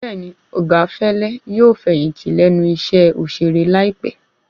Bẹ́ẹ̀ni, Ọ̀gá Fẹ́lẹ́ yóò fẹ̀yìntì lẹ́nu iṣẹ́ òṣèré láìpé